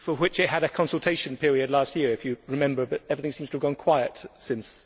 It had a consultation period last year, if you remember, but everything seems to have gone quiet since.